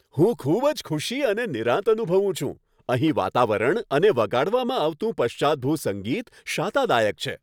હું ખૂબ જ ખુશી અને નિરાંત અનુભવું છું, અહીં વાતાવરણ અને વગાડવામાં આવતું પશ્ચાતભૂ સંગીત શાતાદાયક છે!